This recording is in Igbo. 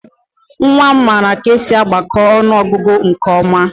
Nwa m maara ka esi agbakọ ọnụọgụgụ nke ọma